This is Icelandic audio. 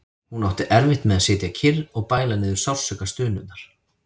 Hún átti erfitt með að sitja kyrr og bæla niður sársaukastunurnar.